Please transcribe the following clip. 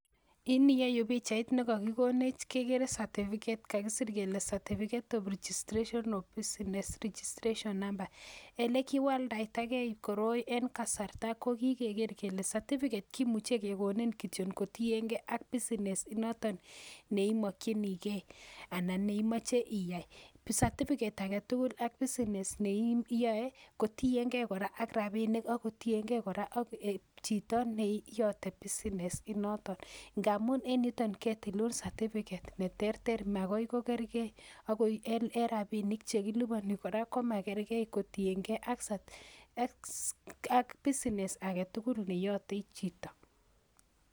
In iyeyu pichait ne kakikonech kekere certificate kakisir kele certificate of registration of business registration number, elekiwaldaitakei koroi en kasarta ko kikeker kele certificate kimuche kekonin kityon kotienkei ak business inoton neimokchinikei anan neimoche iyai, certificate ake tugul ak business ne iyoe, kotienkei ak rabiinik ako tienkei kora ak chito neyote business inoton, ngamun en yutoin ketilun certificate ne terter makoi ko kerkei akoi en rabiinik che kiliponi kora komakerkei kotienkei ak business ake tugul ne yote chito.